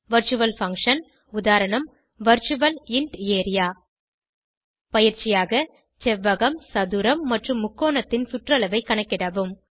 virtual function உதாரணம் virtual int area பயிற்சியாக செவ்வகம் சதுரம் மற்றும் முக்கோணத்தின் சுற்றளவைக் கணக்கிடவும்